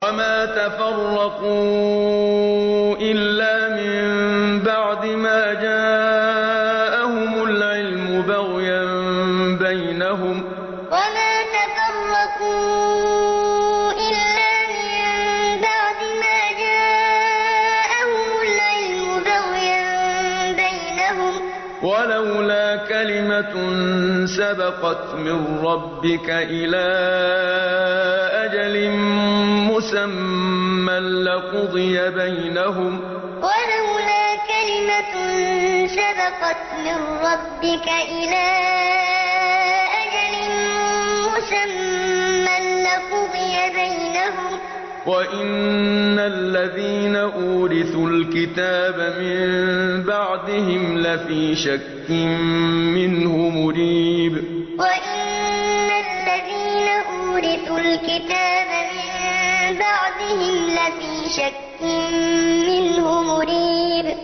وَمَا تَفَرَّقُوا إِلَّا مِن بَعْدِ مَا جَاءَهُمُ الْعِلْمُ بَغْيًا بَيْنَهُمْ ۚ وَلَوْلَا كَلِمَةٌ سَبَقَتْ مِن رَّبِّكَ إِلَىٰ أَجَلٍ مُّسَمًّى لَّقُضِيَ بَيْنَهُمْ ۚ وَإِنَّ الَّذِينَ أُورِثُوا الْكِتَابَ مِن بَعْدِهِمْ لَفِي شَكٍّ مِّنْهُ مُرِيبٍ وَمَا تَفَرَّقُوا إِلَّا مِن بَعْدِ مَا جَاءَهُمُ الْعِلْمُ بَغْيًا بَيْنَهُمْ ۚ وَلَوْلَا كَلِمَةٌ سَبَقَتْ مِن رَّبِّكَ إِلَىٰ أَجَلٍ مُّسَمًّى لَّقُضِيَ بَيْنَهُمْ ۚ وَإِنَّ الَّذِينَ أُورِثُوا الْكِتَابَ مِن بَعْدِهِمْ لَفِي شَكٍّ مِّنْهُ مُرِيبٍ